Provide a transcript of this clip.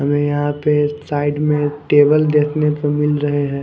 हमें यहां पे साइड में टेबल देखने को मिल रहे हैं।